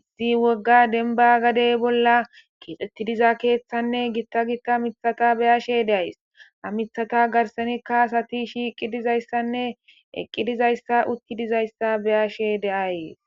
izi wogga denba gadey bolla kixetti diza keeththanne gitta gitta mithata be'ashe de'ays ha mithata garsanikka sati shiiqi dizayssanne eqqi dizayssa utti dizayssa be'ashe de'ayis